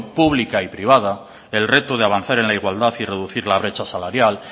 pública y privada el reto de avanzar en la igualdad y reducir la brecha salarial